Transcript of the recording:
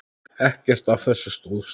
Ekkert af þessu stóðst.